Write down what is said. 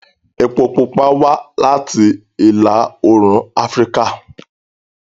Epo pupa wá láti ìlà-oòrùn Afíríkà